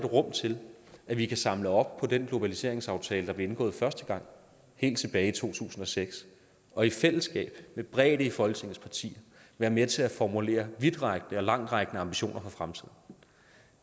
rum til at vi kan samle op på den globaliseringsaftale der blev indgået første gang helt tilbage i to tusind og seks og i fællesskab med bredde i folketingets partier være med til at formulere vidtrækkende og langtrækkende ambitioner for fremtiden